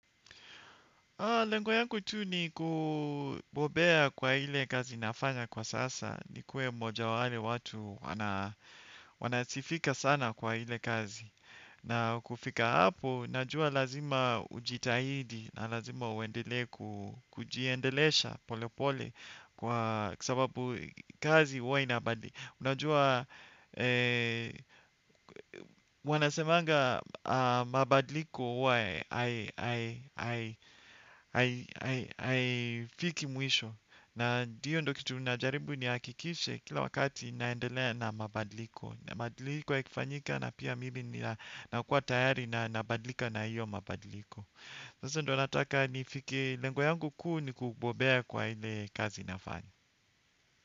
Lengo yangu tu ni kubobea kwa ile kazi nafanya kwa sasa, nikuwe mmoja wa wale watu wanasifika sana kwa ile kazi. Na kufika hapo, najua lazima ujitahidi, na lazima uendelee kujiendelesha polepole kwa sababu kazi huwa inabadlika. Unajua wanasemanga mabadliko huwa hafiki mwisho. Na ndio ndo kitu najaribu nihakikishe kila wakati naendelea na mabadliko. Na mabadliko yakifanyika na pia mimi ninakuwa tayari na nabadlika na hiyo mabadliko. Sasa ndio nataka nifikie lengo yangu kuu ni kubobea kwa ile kazi nafanya.